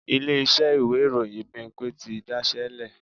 Ilé-iṣẹ́ ìwé ìròyìn Bímpé ti daṣẹ́ lẹ̀